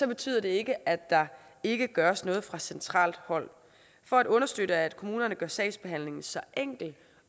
betyder det ikke at der ikke gøres noget fra centralt hold for at understøtte at kommunerne gør sagsbehandlingen så enkel